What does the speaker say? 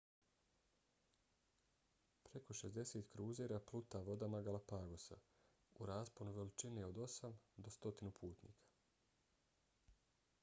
preko 60 kruzera pluta vodama galapagosa - u rasponu veličine od 8 do 100 putnika